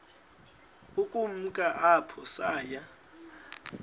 ukumka apho saya